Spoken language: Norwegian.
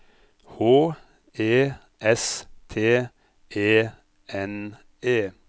H E S T E N E